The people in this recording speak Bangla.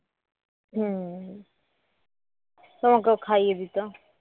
তোমাকেও খাইয়ে দিত